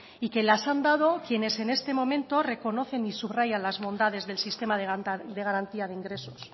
y que las han dado quienes en este momento reconocen y subrayan las bondades del sistema de garantía de ingresos